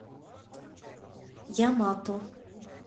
ямато